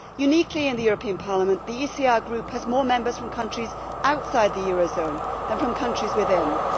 Uniquely in the European Parliament, the ECR Group has more members from countries outside the eurozone than from countries within it.